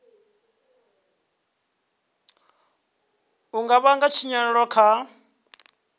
u nga vhanga tshinyalelo kha